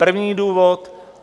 První důvod.